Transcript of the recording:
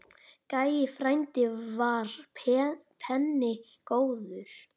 Gæi frændi var penni góður.